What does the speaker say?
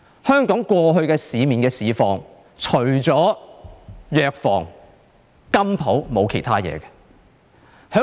香港過去的市況，除了藥房和金鋪便沒有其他東西了。